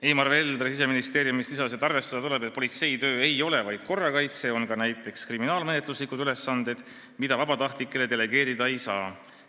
Eimar Veldre Siseministeeriumist lisas, et arvestada tuleb, et politseitöö ei ole vaid korrakaitse, politseil on ka näiteks kriminaalmenetluslikud ülesanded, mida vabatahtlikele delegeerida ei saa.